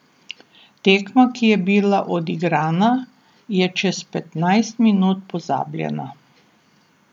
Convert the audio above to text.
Tekma, ki je bila odigrana, je čez petnajst minut pozabljena.